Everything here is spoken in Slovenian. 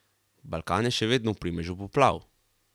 Balkan je še vedno v primežu poplav.